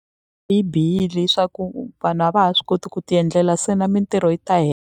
Yi bihile hi swa ku vanhu a va ha swi koti ku ti endlela se na mintirho yi ta .